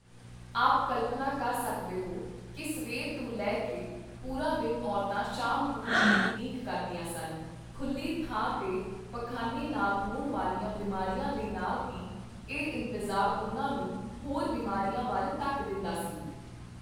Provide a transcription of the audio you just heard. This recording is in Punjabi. ਆਪ ਕਲਪਨਾ ਕਰ ਸਕਦੇ ਹੋ ਕੀ ਸਵੇਰ ਤੋਂ ਲੈ ਕੇ ਪੂਰਾ ਦਿਨ ਔਰਤਾਂ ਸ਼ਾਮ ਹੋਣ ਦੀ ਉਡੀਕ ਕਰਦੀਆਂ ਸਨ, ਖੁਲ੍ਹੀ ਥਾਂ ਤੇ ਪਖ਼ਾਨੇ ਨਾਲ ਹੋਣ ਵਾਲੀਆਂ ਬਿਮਾਰੀਆਂ ਦੇ ਨਾਲ ਹੀ, ਇਹ ਇੰਤਜ਼ਾਰ ਉਨ੍ਹਾਂ ਨੂੰ ਹੋਰ ਬਿਮਾਰੀਆਂ ਵੱਲ ਧੱਕ ਦਿੰਦਾ ਸੀ।